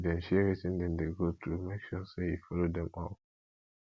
if them share wetin dem dey go through make sure say you follow them up